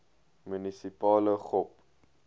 munisipale gop